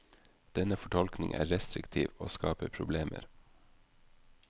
Denne fortolkning er restriktiv og skaper problemer.